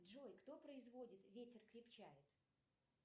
джой кто производит ветер крепчает